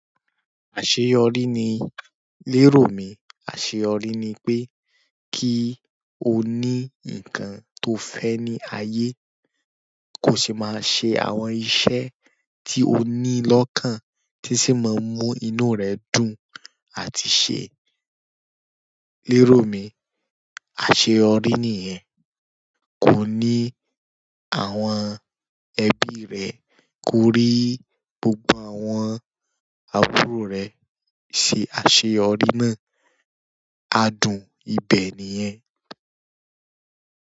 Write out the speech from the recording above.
Àṣeyọrí ní, lérò mí àṣeyọrí ni pé kí o ní nǹkan tó fẹ́ ní ayé, kó sì máa ṣe àwọn iṣẹ́ tí o ní lọ́kàn, tí sì máa mú inú rẹ dùn àti ṣe lérò mi. Àṣeyọrí nìyẹn. Kó ní àwọn ẹbí rẹ, kó rí gbogbo àwọn àbúrò rẹ ṣe àṣeyọrí náà. Adùn ibẹ̀ nìyẹn.